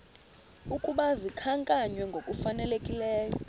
ukuba zikhankanywe ngokufanelekileyo